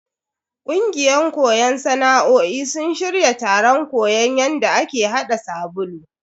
Kungiyan koyon sana'o'in sun shirya taron koyon yadda ake hada sabulu.